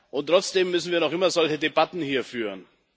und trotzdem müssen wir noch immer solche Debatten hier führen.